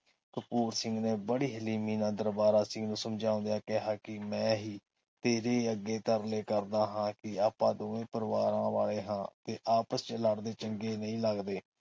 ਕਪੂਰ ਸਿੰਘ ਨੇ ਬੜੀ ਹਲੀਮੀ ਨਾਲ ਦਰਬਾਰਾ ਸਿੰਘ ਨੂੰ ਸਮਝੋਦਿਆਂ ਕਿਹਾ ਕੇ ਮੈਂ ਹੀ ਤੇਰੇ ਅੱਗੇ ਤਰਲੇ ਕਰਦਾ ਹੈ ਕਿ ਆਪਾ ਦੋਵੇ ਪਰਿਵਾਰਾਂ ਵਾਲੇ ਹਾਂ ਤੇ ਆਪਸ ਚ ਲੜਦੇ ਚੰਗੇ ਨਹੀਂ ਲੱਗਦੇ